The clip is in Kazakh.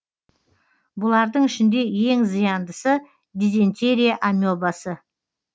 бұлардың ішінде ең зияндысы дизентерия амебасы